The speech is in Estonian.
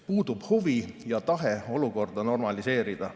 Puudub huvi ja tahe olukorda normaliseerida.